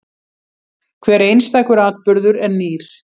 Hver einstakur atburður er nýr.